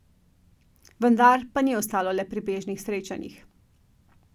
Vendar pa ni ostalo le pri bežnih srečanjih.